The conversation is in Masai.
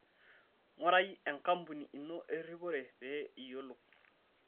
Ngurai enkampuni ino eripore pee iyiolou.